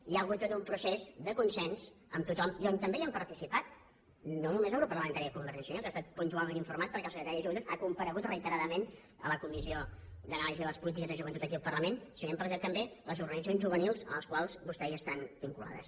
hi ha hagut tot un procés de consens amb tothom i on també hi han participat no només el grup parlamentari de convergència i unió que ha estat puntualment informat perquè el secretari de joventut ha comparegut reiteradament en la comissió d’anàlisi de les polítiques de joventut aquí al parlament sinó que hi han participat també les organitzacions juvenils a les quals vostès estan vinculats